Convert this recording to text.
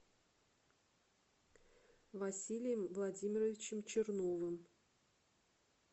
василием владимировичем черновым